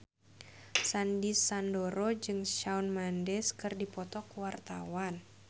Sandy Sandoro jeung Shawn Mendes keur dipoto ku wartawan